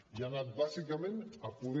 i ha anat bàsicament a poder